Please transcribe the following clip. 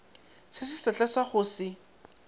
se sesehla sa go se